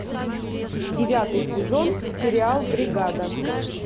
девятый сезон сериал бригада